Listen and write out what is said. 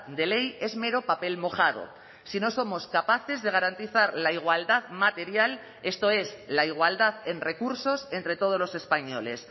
de ley es mero papel mojado si no somos capaces de garantizar la igualdad material esto es la igualdad en recursos entre todos los españoles